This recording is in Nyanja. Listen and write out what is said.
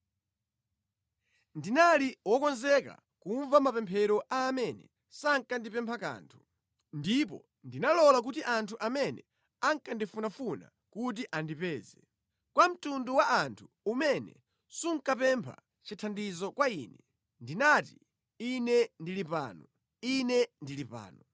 “Ndinali wokonzeka kumva mapemphero a amene sankandipempha kanthu; ndipo ndinalola kuti anthu amene ankandifunafuna kuti andipeze. Kwa mtundu wa anthu umene sunkapempha chithandizo kwa Ine, ndinati, ‘Ine ndili pano, Ine ndili pano.’